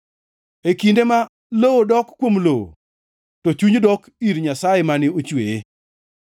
e kinde ma lowo dok kuom lowo, to chuny dok ir Nyasaye mane ochweye.